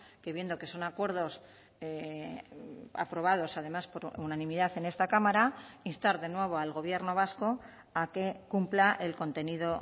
que viendo que son acuerdos aprobados además por unanimidad en esta cámara instar de nuevo al gobierno vasco a que cumpla el contenido